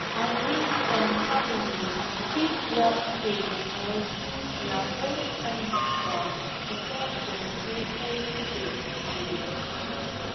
i mean some families fit wan pray or do their own kind ritual before dem do any procedure